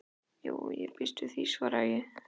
Jú, ég býst við því, svaraði ég.